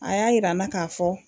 A y'a yira n na k'a fɔ.